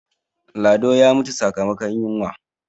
lado ya mutu sakamakon yinwa